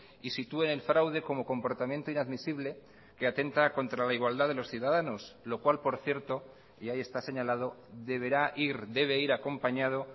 y sitúen el fraude como comportamiento inadmisible que atenta contra la igualdad de los ciudadanos lo cual por cierto y ahí está señalado deberá ir debe ir acompañado